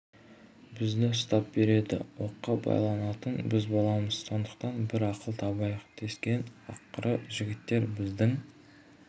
бізді ұстап береді оққа байланатын біз боламыз сондықтан бір ақыл табайық дескен ақыры жігіттер біздің